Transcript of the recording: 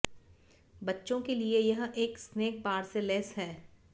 बच्चों के लिए यह एक स्नैक बार से लैस है